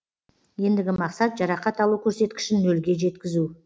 ендігі мақсат жарақат алу көрсеткішін нөлге жеткізу